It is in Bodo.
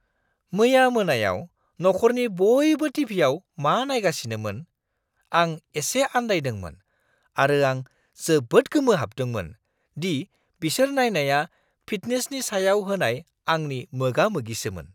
मैया मोनायाव नखरनि बयबो टिभिआव मा नायगासिनोमोन, आं एसे आन्दायदोंमोन आरो आं जोबोद गोमोहाबदोंमोन दि बिसोर नायनाया फिटनेसनि सायाव होनाय आंनि मोगा-मोगिसोमोन!